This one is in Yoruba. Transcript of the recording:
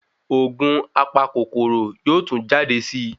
ògùn apa kòkòrò yóò tún jade sí